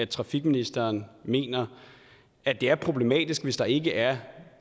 transportministeren mener at det er problematisk hvis der ikke er